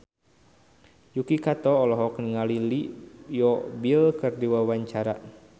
Yuki Kato olohok ningali Leo Bill keur diwawancara